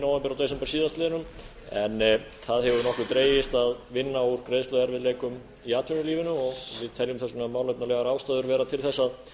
og desember síðastliðnum en það hefur nokkuð dregist að vinna úr greiðsluerfiðleikum í atvinnulífinu og við teljum þess vegna málefnalegar ástæður vera til þess